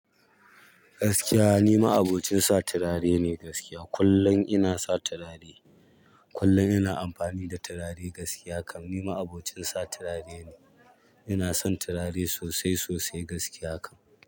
Gaskiya ni ma'abocin sa turare ne gaskiya. Kullum ina sa turare, kullum ina amfani da turare gaskiya kam ni ma'abocin sa turare ne. Ina son turare sosai sosai gaskiya kam.